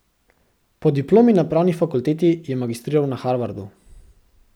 Po diplomi na pravni fakulteti je magistriral na Harvardu.